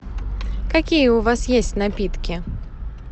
какие у вас есть напитки